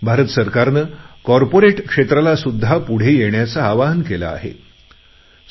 भारत सरकारने कॉर्पोरेट क्षेत्राला सुद्धा पुढे येण्याचे आवाहन केले आहे